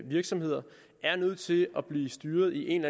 virksomheder er nødt til at blive styret i en